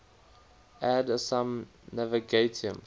ad usum navigatium